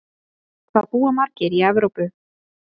Hvað búa margir í Evrópu?